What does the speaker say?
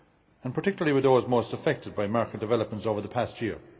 and particularly with those most affected by market developments over the past year.